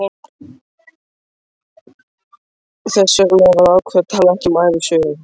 Þess vegna var ákveðið að tala ekki um ævisögu